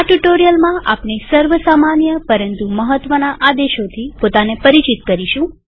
આ ટ્યુ્ટોરીઅલમાં આપણે સર્વ સામાન્ય પરંતુ મહત્વના આદેશોથી પોતાને પરિચિત કરીશું